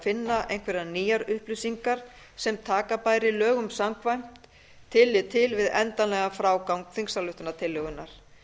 finna einhverjar nýjar upplýsingar sem taka bæri lögum samkvæmt tillit til við endanlegan frágang þingsályktunartillögunnar